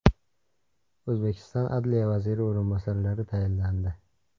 O‘zbekiston Adliya vaziri o‘rinbosarlari tayinlandi.